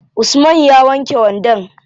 Usman ya wanke wandon?